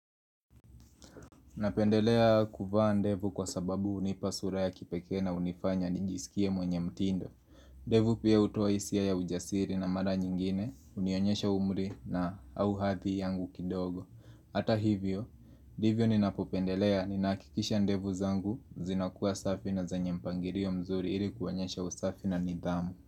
Napendelea kuvaa ndevu kwa sababu hunipa sura ya kipekee na hunifanya nijisikie mwenye mtindo ndevu pia hutoa hisia ya ujasiri na mara nyingine hunionyesha umri na au hathi yangu kidogo Hata hivyo, ndivyo ninapopendelea ninahakikisha ndevu zangu zinakuwa safi na zenye mpangirio mzuri ili kuonyesha usafi na nidhamu.